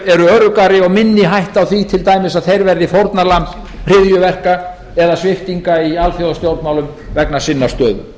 öruggari og minni hætta á því til dæmis að þeir verði fórnarlamb hryðjuverka eða svipta í alþjóðastjórnmálum vegna sinnar stöðu